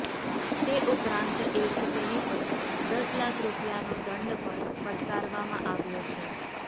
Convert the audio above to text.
તે ઉપરાંત એક તેની પર દસ લાખ રૂપિયાનો દંડ પણ ફટકારવામાં આવ્યો છે